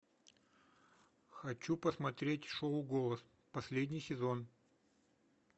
хочу посмотреть шоу голос последний сезон